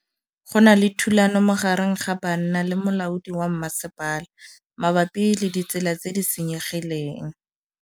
Go na le thulanô magareng ga banna le molaodi wa masepala mabapi le ditsela tse di senyegileng.